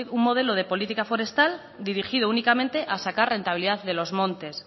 un modelo de política forestal dirigido únicamente a sacar rentabilidad de los montes